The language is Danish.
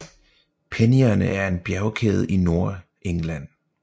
Penninerne er en bjergkæde i Nordengland